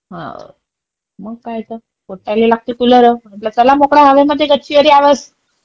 मग काय त. पोट्याले लागते कुलर. म्हणलं चला मोकळ्या हवेमध्ये गच्चीवर यावेळेस.